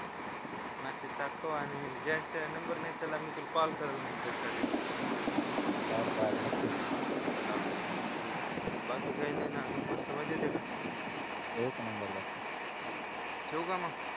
message टाकतो आणि number नाही त्याला मी कॉल करेन त्यासाठी बरोबर नक्कीच हा हा ठीक आहे बाकी काही नाही ना अजून मस्त मजेत आहे ना एक नंबर बकी ठीक आहे ठेऊ का मग